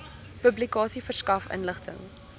publikasie verskaf inligting